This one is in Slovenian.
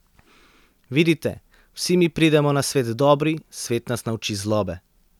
Vidite, vsi mi pridemo na svet dobri, svet nas nauči zlobe.